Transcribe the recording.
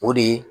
O de ye